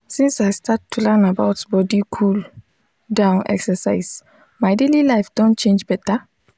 since i start to learn about body cool-down exercise my daily life don change better.